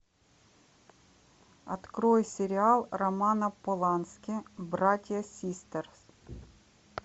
открой сериал романа полански братья систерс